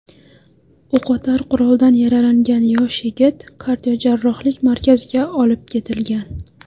O‘qotar quroldan yaralangan yosh yigit kardiojarrohlik markaziga olib ketilgan.